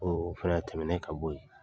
O o fɛnɛ tɛmɛn ka bɔ yen